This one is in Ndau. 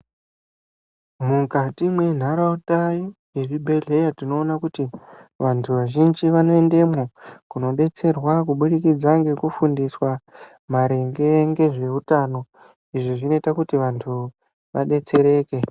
Mukati mwentaraunda yezvibhedhleya tinona kuti vantu vazhinji vanoendemwo kunobetserwa kubudikidzwa ngekufundiswa maringe ngezvehutano. Izvi zvinoita kuti vantu vabetsereke.